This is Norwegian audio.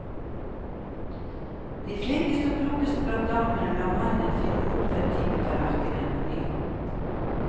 De flinkeste og klokeste blant damene lar mannen finne opp den dype tallerken på ny.